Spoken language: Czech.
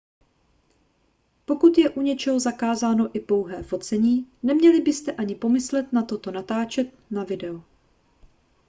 pokud je u něčeho zakázáno i pouhé focení neměli byste ani pomyslet na to natáčet to na video